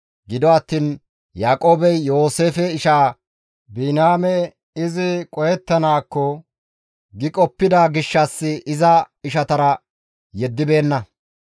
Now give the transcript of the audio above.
Gido attiin Yaaqoobey Yooseefe ishaa Biniyaame izi qohettanaakko giidi qoppida gishshas iza ishatara yeddibeenna.